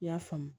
I y'a faamu